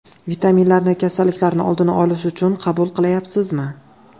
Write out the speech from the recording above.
Vitaminlarni kasalliklarning oldini olish uchun qabul qilayapsizmi?